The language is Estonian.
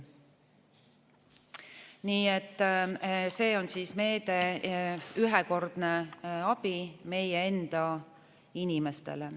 Nii et see on meede, ühekordne abi meie enda inimestele.